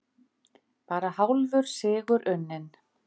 Bara hálfur sigur unninn